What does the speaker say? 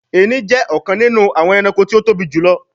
Èrin jé ọkàn nínú àwọn ẹranko tí o tóbi jùlọ